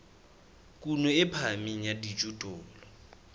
kuno e phahameng ya dijothollo